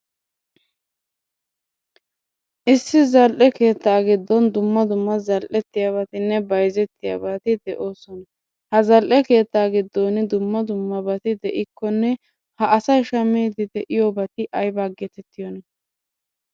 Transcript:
Issi zal'e keettaa giddon dumma dumma zal'eettiyaabatinne bayzettiyaabati de'ossona, ha zal'ee keetta giddon dumma dummabat de'ikkonne Ha asay shamiddi de'iyoobati aybaa geettetiyoona?